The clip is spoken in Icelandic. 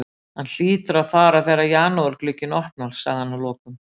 Hann hlýtur að fara þegar janúarglugginn opnar, sagði hann að lokum.